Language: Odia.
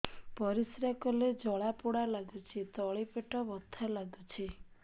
ପରିଶ୍ରା କଲେ ଜଳା ପୋଡା ଲାଗୁଚି ତଳି ପେଟ ବଥା ଲାଗୁଛି